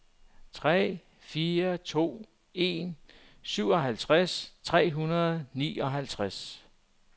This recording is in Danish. tre fire to en syvoghalvtreds tre hundrede og nioghalvtreds